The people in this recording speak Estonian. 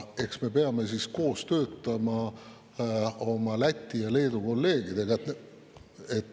Eks me peame töötama koos oma Läti ja Leedu kolleegidega.